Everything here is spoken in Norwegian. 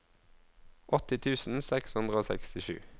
åtti tusen seks hundre og sekstisju